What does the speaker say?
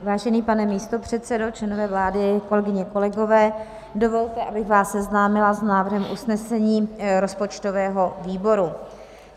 Vážený pane místopředsedo, členové vlády, kolegyně, kolegové, dovolte, abych vás seznámila s návrhem usnesení rozpočtového výboru.